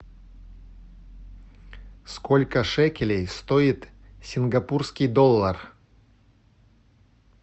сколько шекелей стоит сингапурский доллар